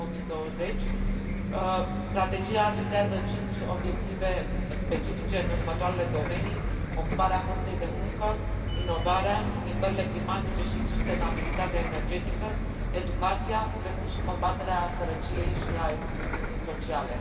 2020 strategia vizează cinci obiective specifice în următoarele domenii ocuparea forței de muncă, inovarea, schimbările climatice și sustenabilitatea energetică, educația, precum și combaterea sărăciei și a excluziunii sociale.